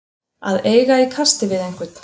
Að eiga í kasti við einhvern